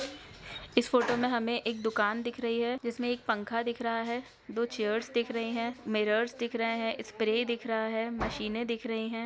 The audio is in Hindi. इस फोटो में हमें एक दुकान दिख रही है जिसमें एक पंखा दिख रहा है दो चेयर्स दिख रही है मिरर्स दिख रहे है स्प्रे दिख रहा है मशीनें दिख रही हैं।